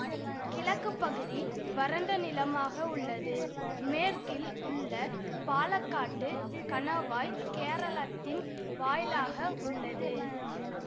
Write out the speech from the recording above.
கிழக்கு பகுதி வறண்ட நிலமாக உள்ளது மேற்கில் உள்ள பாலக்காட்டு கணவாய் கேரளத்தின் வாயிலாக உள்ளது